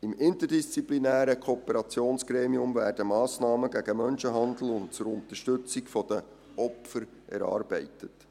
Im interdisziplinären Kooperationsgremium werden Massnahmen gegen Menschenhandel und zur Unterstützung der Opfer erarbeitet.